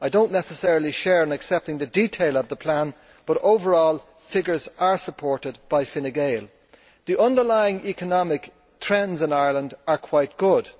I do not necessarily share in accepting the detail of the plan, but overall figures are supported by Fine Gael The underlying economic trends in Ireland are quite good.